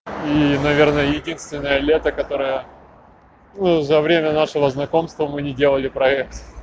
ии наверное единственное лето которое ну за время нашего знакомства мы не делали проект